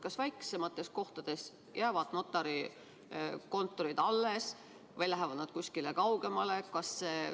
Kas väiksemates kohtades jäävad notarikontorid alles või lähevad nad kusagile kaugemale?